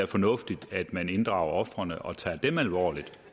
fornuftigt at man inddrager ofrene og tager dem alvorligt